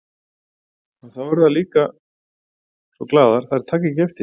En þá verða þær líka svo glaðar að þær taka ekki eftir því.